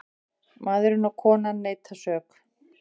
Maðurinn og konan neita sök.